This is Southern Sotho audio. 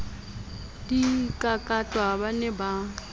di kakatwa ba ne ba